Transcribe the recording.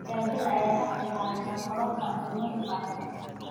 Gaajada ayaa ka qayb qaadata kororka cudurrada faafa.